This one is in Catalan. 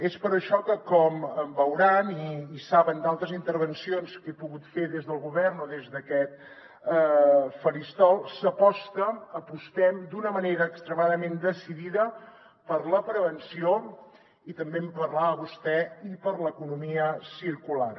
és per això que com veuran i saben d’altres intervencions que he pogut fer des del govern o des d’aquest faristol s’aposta apostem d’una manera extremadament decidida per la prevenció i també en parlava vostè i per a l’economia circular